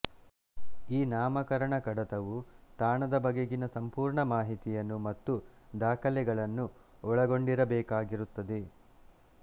ಈ ನಾಮಕರಣ ಕಡತವು ತಾಣದ ಬಗೆಗಿನ ಸಂಪೂರ್ಣ ಮಾಹಿತಿಯನ್ನು ಮತ್ತು ದಾಖಲೆಗಳನ್ನು ಒಳಗೊಂಡಿರಬೇಕಾಗಿರುತ್ತದೆ